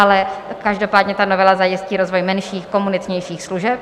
Ale každopádně ta novela zajistí rozvoj menších komunitnějších služeb.